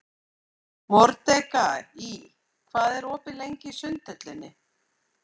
Mordekaí, hvað er opið lengi í Sundhöllinni?